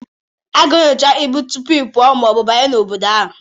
A ga-enyocha ibu tupu ịpụ ma ọ bụ abanye na obodo ahụ